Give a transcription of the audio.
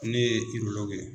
ne ye ye.